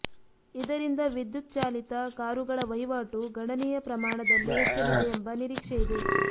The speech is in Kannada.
ಇದರಿಂದ ವಿದ್ಯುತ್ ಚಾಲಿತ ಕಾರುಗಳ ವಹಿವಾಟು ಗಣನೀಯ ಪ್ರಮಾಣದಲ್ಲಿ ಹೆಚ್ಚಲಿದೆ ಎಂಬ ನಿರೀಕ್ಷೆಯಿದೆ